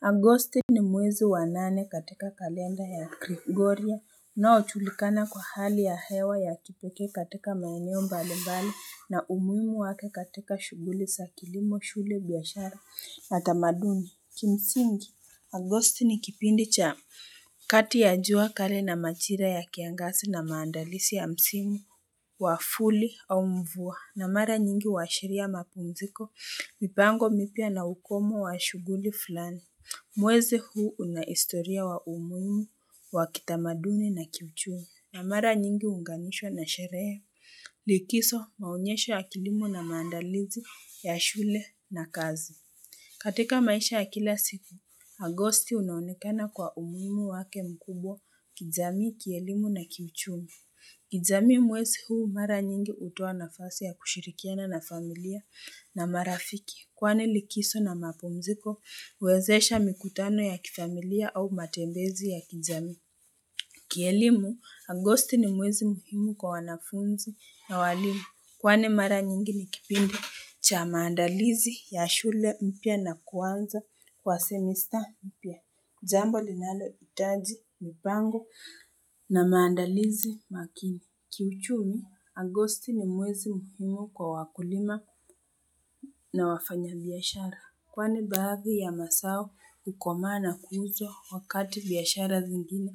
Agosti ni mwezi wa nane katika kalenda ya Gregoria unaochulikana kwa hali ya hewa ya kipeke katika maeneo mbali mbali na umuhimu wake katika shuguli sa kilimo shule biyashara na tamaduni kimsingi Agosti ni kipindi cha kati ya jua kali na machira ya kiangasi na maandalisi ya msimu wa fuli au mvua na mara nyingi huwaashiria mapumziko mipango mipya na ukomo wa shuguli fulani Mwezi huu una historia wa umuimu, wakitamaduni na kiuchumi. Na mara nyingi unganishwa na sherehe, likiso maonyesho ya kilimo na maandalizi ya shule na kazi. Katika maisha ya kila siku, agosti unaonekana kwa umuhimu wake mkubwa, kijamii, kielimu na kiuchumi. Kijamii mwezi huu mara nyingi hutoa nafasi ya kushirikiana na familia na marafiki. Kwani likiso na mapumziko, uwezesha mikutano ya kifamilia au matembezi ya kijamii. Kielimu, Agosti ni mwezi muhimu kwa wanafunzi na walimu. Kwani mara nyingi ni kipindi cha maandalizi ya shule mpya na kuanza kwa semista mpya. Jambo linalo itaji mpango na maandalizi makini. Kiuchumi, Agosti ni mwezi muhimu kwa wakulima na wafanya biyashara. Kwani baadhi ya masao hukomaa na kuuzwa wakati biyashara zingine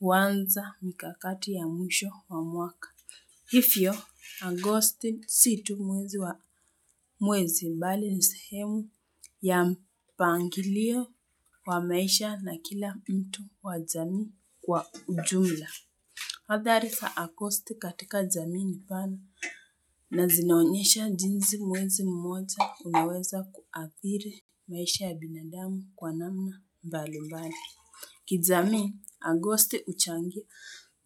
uwanza mikakati ya mwisho wa mwaka. Ifyo, Agosti si tu mwezi bali ni sehemu ya mpangilio wa maisha na kila mtu wa jamii kwa ujumla. Hadhari sa agosti katika jamii ni pana na zinaonyesha jinzi mwezi mmoja unaweza kuathiri maisha ya binadamu kwa namna mbali mbali. Kijamii, agosti uchangia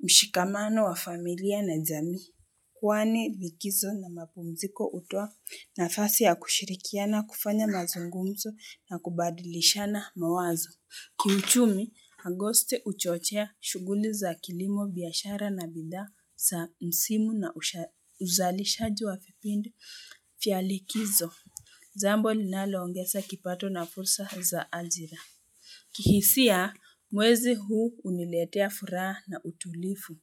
mshikamano wa familia na jamii. Kwani likizo na mapumziko utwa nafasi ya kushirikiana kufanya mazungumzo na kubadilishana mawazo. Kiuchumi, agoste uchochea shuguli za kilimo biashara na bidhaa sa msimu na uzalishaji wa fipindi fya likizo. Jambo linalo ongesa kipato na fursa za ajira. Kihisia, mwezi huu uniletea furaha na utulifu.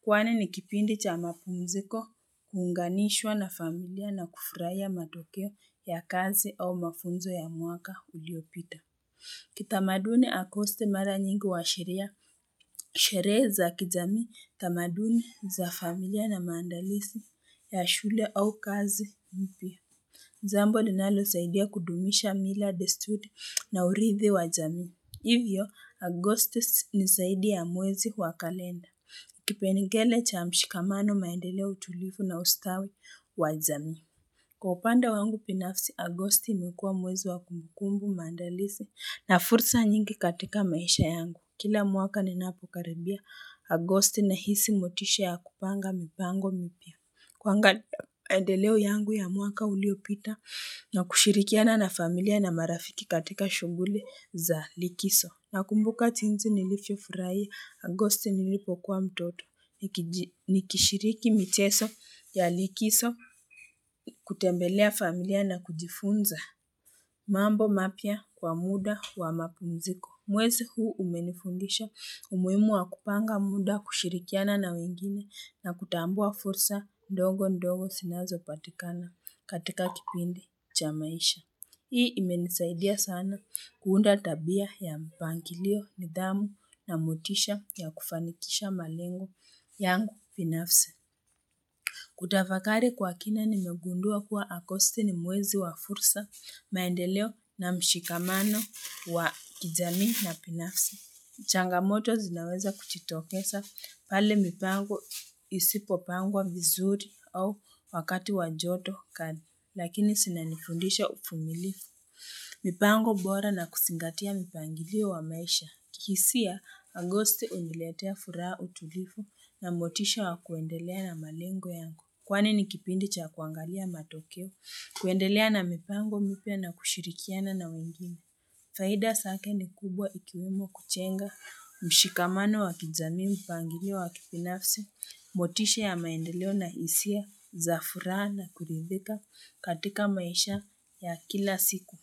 Kwani ni kipindi cha mapunziko, huunganishwa na familia na kufuraia matokeo ya kazi au mafunzo ya mwaka uliopita. Kitamaduni agosti mara nyingi huashiria, shirehe za kijamii, tamaduni za familia na maandalisi ya shule au kazi mpya. Jambo linalo saidia kudumisha mila desturi na urithi wa jamii. Hivyo, Agosti ni saidi ya mwezi wa kalenda. Kipengele cha mshikamano maendeleo utulifu na ustawi wa jamii. Kwa upande wangu pinafsi Agosti imekuwa mwezi wa kumbukumbu maandalizi na fursa nyingi katika maisha yangu. Kila mwaka ninapokaribia Agosti nahisi motisha ya kupanga mipango mipya. Kwangalia maendeleo yangu ya mwaka uliopita na kushirikiana na familia na marafiki katika shuguli za likiso. Nakumbuka jinzi nilifyo furaia, agosti nilipokuwa mtoto, nikishiriki mcheso ya likiso, kutembelea familia na kujifunza mambo mapya kwa muda wa mapumziko. Mwezi huu umenifundisha, umuimu wa kupanga muda kushirikiana na wengine na kutambua fursa ndogo ndogo sinazo patikana katika kipindi cha maisha. Hii imenisaidia sana kuunda tabia ya mpangilio, nidhamu na motisha ya kufanikisha malengu yangu pinafsi. Kutafakari kwa kina nimegundua kuwa agosti ni mwezi wa fursa, maendeleo na mshikamano wa kijamii na pinafsi. Changamoto zinaweza kuchitokesa pale mipango isipopangwa vizuri au wakati wa joto kali. Lakini sina nifundisha ufumilifu. Mipango bora na kusingatia mipangilio wa maisha. Kihisia, agosti uniletea furaha utulifu na motisha wa kuendelea na malengo yangu. Kwani ni kipindi cha kuangalia matokeo, kuendelea na mipango mipya na kushirikiana na wengine. Faida sake ni kubwa ikiwemo kuchenga mshikamano wa kijamii mpangilio wa kipinafsi, motisha ya maendeleo na isia za furaha na kuridhika katika maisha ya kila siku.